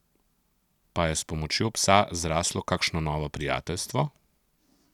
Pa je s pomočjo psa zraslo kakšno novo prijateljstvo?